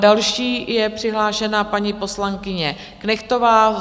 Další je přihlášena paní poslankyně Knechtová.